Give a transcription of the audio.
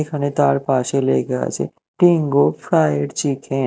এখানে তার পাশে লেগা আচে তিঙগো ফ্রায়েড চিকে--